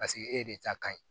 Paseke e de ta ka ɲi